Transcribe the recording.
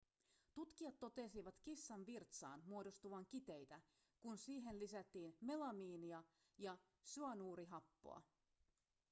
tutkijat totesivat kissan virtsaan muodostuvan kiteitä kun siihen lisättiin melamiinia ja syanuurihappoa